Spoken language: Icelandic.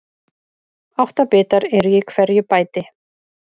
Átta bitar eru í hverju bæti.